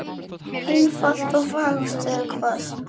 Einfalt og fagurt, eða hvað?